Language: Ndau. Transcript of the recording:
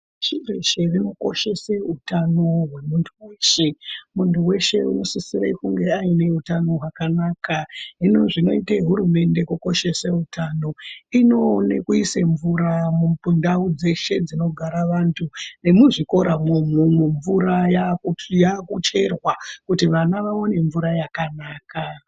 .Chiro chinokoshese utano hwemuntu weshe. Muntu weshe unosisire kunge aine utano hwakanaka. Hino zvinoite hurumende kukoshese utano inoone kuise mvura mundau dzeshe dzinogara vantu. Nemuzvikoramwo umwomwo, mvura yaakucherwa kuti vana vaone mvura yakanaka.